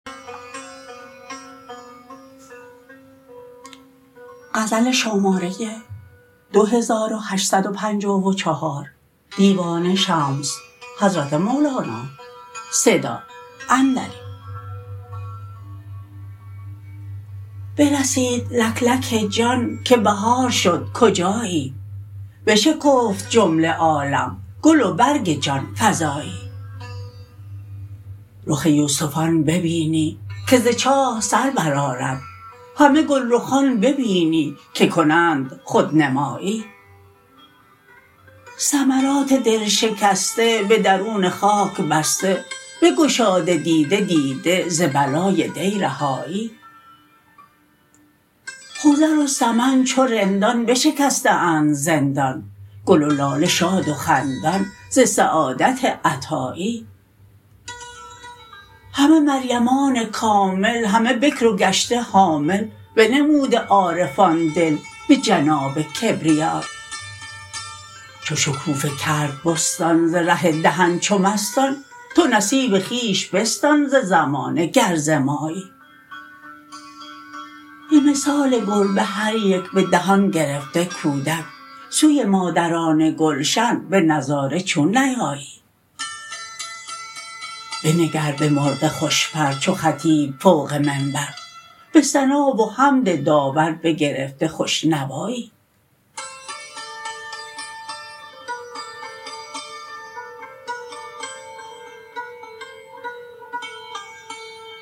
برسید لک لک جان که بهار شد کجایی بشکفت جمله عالم گل و برگ جان فزایی رخ یوسفان ببینی که ز چاه سر برآرد همه گلرخان ببینی که کنند خودنمایی ثمرات دل شکسته به درون خاک بسته بگشاده دیده دیده ز بلای دی رهایی خضر و سمن چو رندان بشکسته اند زندان گل و لاله شاد و خندان ز سعادت عطایی همه مریمان کامل همه بکر و گشته حامل بنموده عارفان دل به جناب کبریایی چو شکوفه کرد به بستان ز ره دهن چو مستان تو نصیب خویش بستان ز زمانه گر ز مایی به مثال گربه هر یک به دهان گرفته کودک سوی مادران گلشن به نظاره چون نیایی بنگر به مرغ خوش پر چو خطیب فوق منبر به ثنا و حمد داور بگرفته خوش نوایی